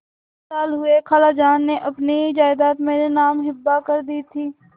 तीन साल हुए खालाजान ने अपनी जायदाद मेरे नाम हिब्बा कर दी थी